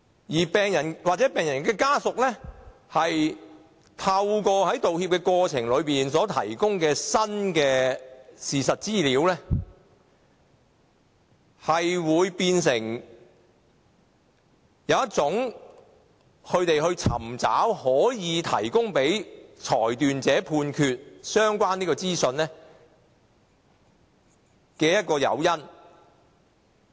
而病人或病人家屬從道歉過程中得到的新事實資料，會變成他們尋找可以提供予裁斷者作出判決的誘因。